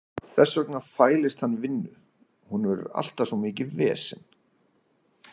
Þess vegna fælist hann vinnu, hún verður alltaf svo mikið vesen.